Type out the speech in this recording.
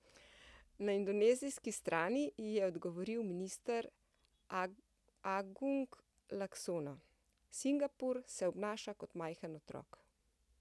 Na indonezijski strani ji je odgovoril minister Agung Laksono: 'Singapur se obnaša kot majhen otrok.